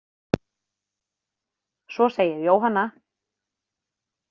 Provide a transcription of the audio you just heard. Svo segir Jóhanna.